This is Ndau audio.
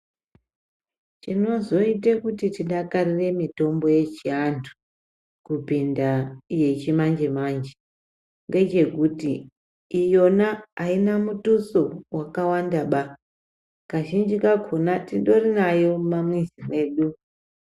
Chinozoite kuti tidakarire mutombo yechiantu kupinda yechimanje manje ngechekuti iyona aina mutuso wakawanda ba kazhinji kakhona tindori nayo mumamizi mwedu.